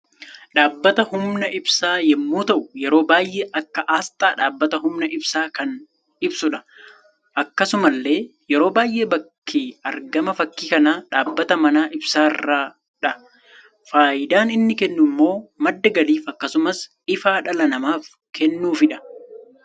Dhaabbata humna ibsa yemmu ta'u yeroo baay'ee akka asxaa dhabbata humna ibsa kan ibsudha. Akkasumallee yeroo baay'ee bakki argama fakki kana dhaabbata mana ibsarradha. Faayidaan inni kennu immoo madda galiif akkasumas ifa dhala namaf kennudhafidha.